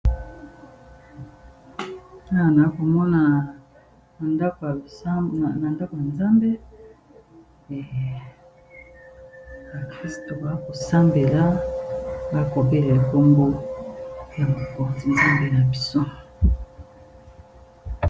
Awa nakomona na ndako ya nzambe ,ba ndimi bakosambela bakobelela kombo ya bokonzi nzambe na biso.